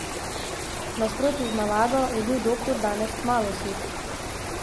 V nasprotju z navado je bil doktor danes kmalu sit.